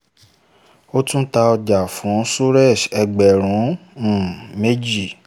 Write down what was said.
ó tún ta ọjà ọjà fún suresh ẹgbẹ̀rún um méjì